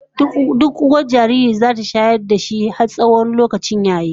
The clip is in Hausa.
Duk uwar jariri zata shayar da shi har tsawon lokacin da zai Isa a yaye shi